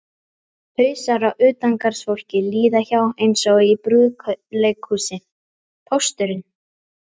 Hausar á utangarðsfólki líða hjá eins og í brúðuleikhúsi: Pósturinn